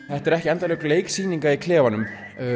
þetta eru ekki endalok leiksýninga í klefanum